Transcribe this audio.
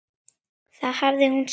Það hafði hún sagt.